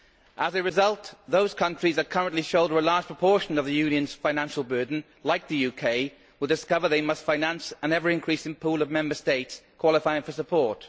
As a result, those countries who currently shoulder a large proportion of the Union's financial burden, like the UK, will discover they must finance an ever increasing pool of Member States qualifying for support.